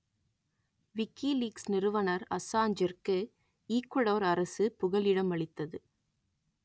WikiLeaks நிறுவனர் அசான்ச்சிற்கு Ecuador அரசு புகலிடம் அளித்தது